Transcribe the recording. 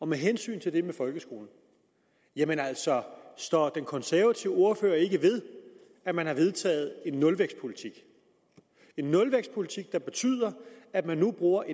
med hensyn til det med folkeskolen står den konservative ordfører ikke ved at man har vedtaget en nulvækstpolitik nulvækstpolitik der betyder at man nu bruger